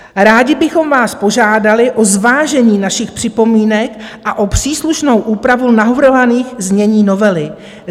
Rádi bychom vás požádali o zvážení našich připomínek a o příslušnou úpravu navrhovaných znění novely.